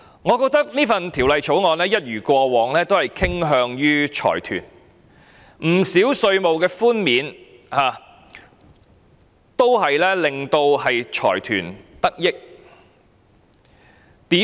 我認為這項條例草案一如過往傾向於財團，不少稅務寬免令財團得益。